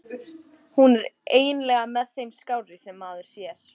Hún er nú eiginlega með þeim skárri sem maður sér.